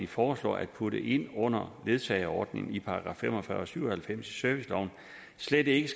foreslår at putte ind under ledsageordningen i § fem og fyrre og § syv og halvfems i serviceloven slet ikke